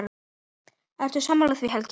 Ertu sammála því Helgi?